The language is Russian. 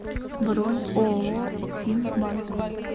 бронь ооо ффин банк